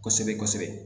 Kosɛbɛ kosɛbɛ